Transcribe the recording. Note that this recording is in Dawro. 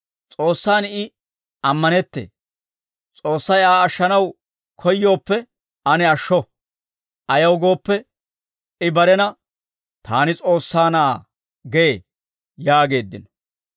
S'oossaan I ammanettee; S'oossay Aa ashshanaw koyyooppe ane ashsho; ayaw gooppe, I barena, ‹Taani S'oossaa Na'aa› gee» yaageeddino.